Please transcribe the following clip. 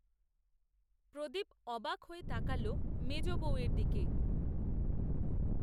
প্রদীপ অবাক হয়ে তাকাল মেজ বৌয়ের দিকে